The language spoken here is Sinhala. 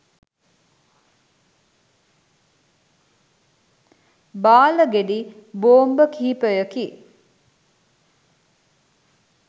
බාල ගෙඩි බෝම්බ කිහිපයකි.